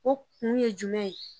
O kun ye jumɛn ye